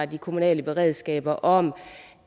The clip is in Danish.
de kommunale beredskaber om